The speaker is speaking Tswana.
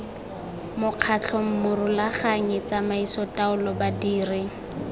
mokgatlho morulaganyi tsamaiso taolo badiri